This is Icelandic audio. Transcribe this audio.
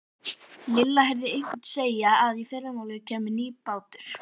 Lilla heyrði einhvern segja að í fyrramálið kæmi nýr bátur.